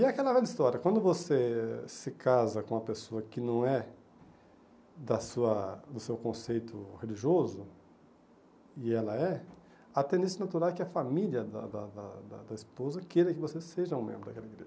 E é aquela velha história, quando você se casa com uma pessoa que não é da sua do seu conceito religioso, e ela é, a tendência natural é que a família da da da da da esposa queira que você seja um membro daquela igreja.